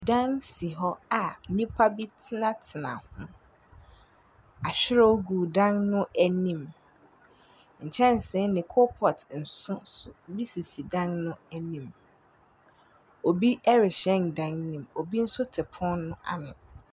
Dan si hɔ a nnipa be tenatena ho. Ahwerew gu dan no anim. Nkyɛnsee ne coal pot nso so bi sisi dan no anim. Obi rehyɛn dan no mu. Obi nso te pono no ano.